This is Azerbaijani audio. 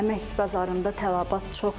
Əmək bazarında tələbat çoxdur.